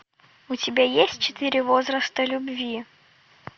у тебя есть четыре возраста любви